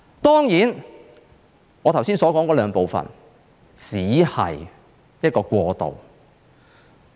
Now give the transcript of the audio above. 當然，我剛才所說的兩部分只是一個過渡。